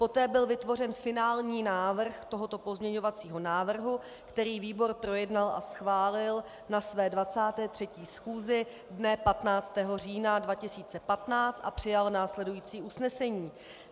Poté byl vytvořen finální návrh tohoto pozměňovacího návrhu, který výbor projednal a schválil na své 23. schůzi dne 15. října 2015, a přijal následující usnesení: